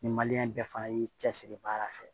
Ni bɛɛ fana y'i cɛsiri baara fɛ